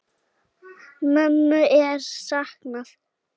Mömmu er saknað.